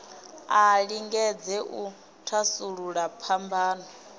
a lingedze u thasulula phambano